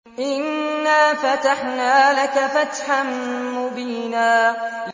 إِنَّا فَتَحْنَا لَكَ فَتْحًا مُّبِينًا